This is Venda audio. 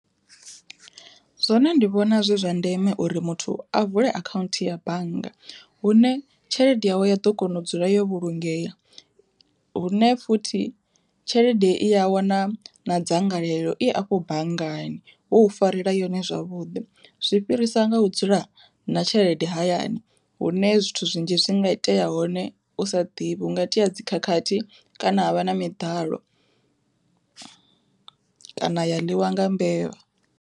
Zwono ndi vhona zwi zwa ndeme uri muthu a vule akhaunthu ya bannga hune tshelede yawe ya ḓo kona u dzula yo vhulungea, hune futhi tshelede i a wana na dzangalelo i afho banngani vho u farela yone zwavhuḓi zwi fhirisa nga u dzula na tshelede hayani, hune zwithu zwinzhi zwi nga itea hone u sa ḓivhi hunga itea dzikhakhathi kana ha vha na miḓalo kana ya ḽiwa nga mbevha.